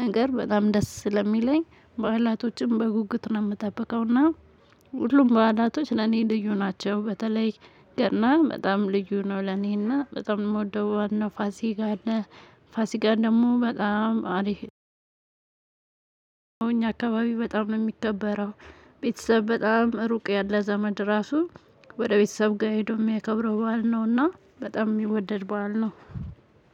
ነገር በጣም ደስ ስለሚለኝ በኋላቶችም በጉጉት ነው የምጠብቀው። እና ሁሉም በኋላቶች ለኔ ልዩ ናቸው። በተለይ ገና በጣም ልዩ ነው ለኔና በጣም የምወደው ዋናው ፋሲጋ አለ። ፋሲጋ ደግሞ በጣም አሪፍ ነው። አካባቢ በጣም ነው የሚከበረው። ቤተሰብ በጣም ሩቅ ያለ ዘመድ ራሱ ወደ ቤተሰብ ጋር ሄዶ የሚያከብረው ባል ነውና በጣም የሚወደድ ባል ነው።